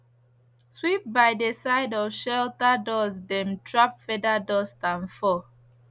sweep by dey side of shelter doors dem trap feather dust and fur